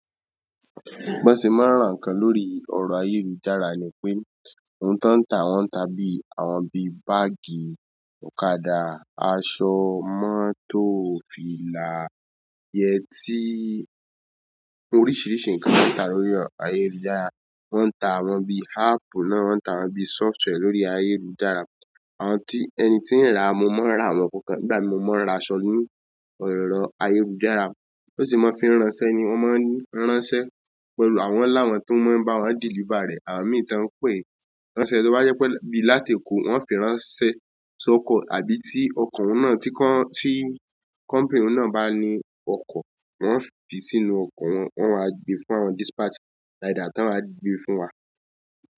Bo sẹ́ máa ń ràn ǹkan lórí erọ̀ ayélujára ni pé, ohun tó ń ta wọ́n tà bí àwọn bíi bàagi, ọ̀kadà, aṣọ, mọ́tò, fìlà, yẹtí, oríṣìíríṣìí ǹkan ni wọ́n ń tà lórí ayélujára. Wọ́n ń ta awọ́n bíi àpp náà, wọ́n ń ta wọ́n bíi sóftware lórí ayélujára. Àwọn tí ẹni tí ń ra, mo máa ń ra àwọn kọ̀ọ̀kan, ìgbà mí mo máa ń ra aṣọ́ ní erọ̀ ayélujára, bó ti mo fi ránṣẹ́ ni wọ́n máa ń ránṣẹ́ pẹ̀lú àwọn wọn lawon tó máa ń bá wọn deliver rẹ̀, àwọn mìíràn tí wọ́n ń pè é ránṣẹ́, tí ó bá yẹ pé bíi láti Èkó wọ́n fi ránṣẹ́ sóko àbí tí ọkọ̀ wọn náà tí kọ́, tí kọ́mpìnì wọn náà bá ní ọkọ̀, wọ́n fi sínú ọkọ̀ wọn, wọ́n wá gbé fún àwọn, dispatch rider tí wọ́n máa gbé fún wa.